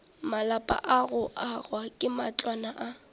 malapa go aga matlwana a